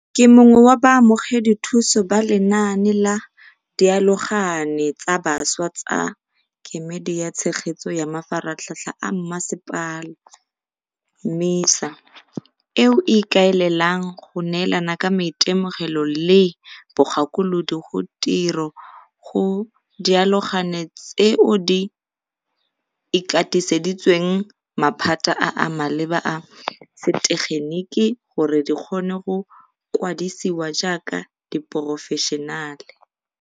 Ke mongwe wa baamogedi thuso ba lenaane la Dialogane tsa Bašwa tsa Kemedi ya Tshegetso ya Mafaratlhatlha a Mmasepala, MISA, eo e ikaelelang go neelana ka maitemogelo le bogakolodi go tiro go diaologane tseo di ikatiseditsweng maphata a a maleba a setegeniki gore di kgone go kwadisiwa jaaka diporofešenale.